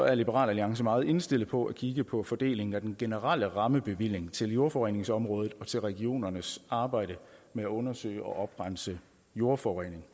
er liberal alliance meget indstillet på at kigge på fordelingen af den generelle rammebevilling til jordforureningsområdet og til regionernes arbejde med at undersøge og oprense jordforurening